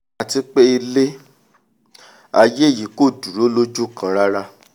àti pé ilé-aiyé yìí ò dúró lójú kan rárá